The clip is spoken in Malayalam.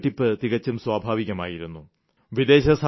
അപ്പോൾ നികുതിവെട്ടിപ്പ് തികച്ചും സ്വഭാവികമായിരുന്നു